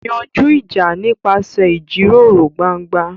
Yanjú ìjà nípasẹ̀ ìjíròrò gbangba.